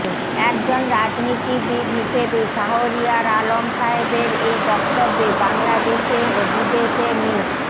একজন রাজনীতিবিদ হিসেবে শাহরিয়ার আলম সাহেবের এই বক্তব্যে বাংলাদেশে ও বিদেশে মি